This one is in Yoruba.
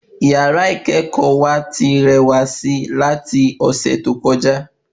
Yàrá ikẹkọ wa ti rẹwà sí lati ọsẹ tó kọjá